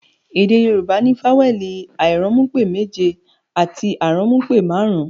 Èdè Yorùbá ní fawẹẹli airanmupe méje àti aranmupe marun-un